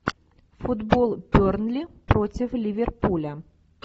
футбол бернли против ливерпуля